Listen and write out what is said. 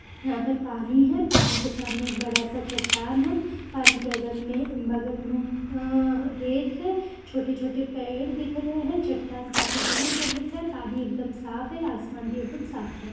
यहाँ पर पानी है पानी के सामने एक बड़ा सा चट्टान है पानी अगल में बगल में अ रेत है छोटे- छोटे पेड़ दिख रहे है चट्टान काफी दूर तक दिख रहा है पानी एक दम साफ है आसमान भी एकदम साफ है।